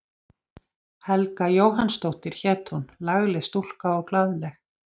Helga Jóhannsdóttir hét hún, lagleg stúlka og glaðleg.